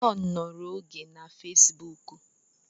John nọrọ n'oge na fesbuk